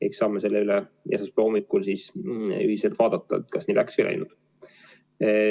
Eks saame esmaspäeva hommikul ühiselt vaadata, kas nii läks või ei läinud.